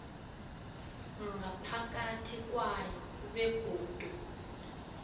ngaphakathi kwayo begodu